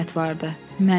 Mənim?